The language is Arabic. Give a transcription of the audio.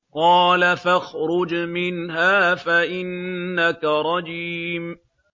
قَالَ فَاخْرُجْ مِنْهَا فَإِنَّكَ رَجِيمٌ